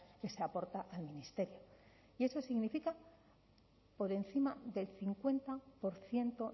que se aporta al ministerio y eso significa por encima del cincuenta por ciento